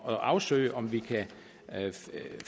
at afsøge om vi kan